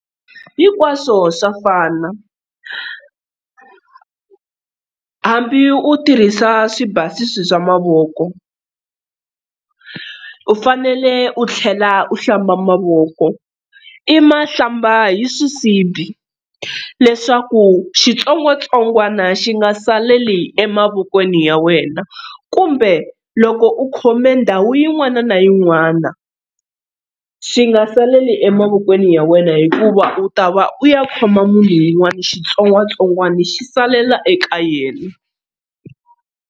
Hinkwaswo swa fana hambi u tirhisa swibasisi swa mavoko u fanele u tlhela u hlamba mavoko, i ma hlamba hi swisibi leswaku xitsongwatsongwana xi nga saleli emavokweni ya wena kumbe loko u khome ndhawu yin'wana na yin'wana xi nga saleli emavokweni ya wena hikuva u ta va u ya khoma munhu un'wana xitsongwatsongwana xi salela eka yena.